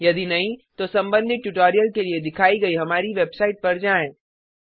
यदि नहीं तो संबंधित ट्यूटोरियल के लिए दिखाइ गई हमारी वेबसाइट पर जाएँ